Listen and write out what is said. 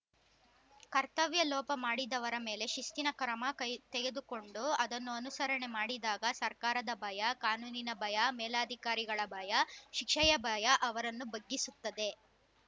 ಕರ್ತವ್ಯ ಲೋಪಮಾಡಿದವರ ಮೇಲೆ ಶಿಸ್ತಿನ ಕ್ರಮ ಕೈ ತೆಗೆದುಕೊಂಡು ಅದನ್ನು ಅನುಸರಣೆ ಮಾಡಿದಾಗ ಸರ್ಕಾರದ ಭಯ ಕಾನೂನಿನ ಭಯ ಮೇಲಧಿಕಾರಿಗಳ ಭಯ ಶಿಕ್ಷೆಯ ಭಯ ಅವರನ್ನು ಬಗ್ಗಿಸುತ್ತದೆ